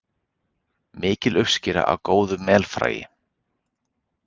Mikil uppskera af góðu melfræi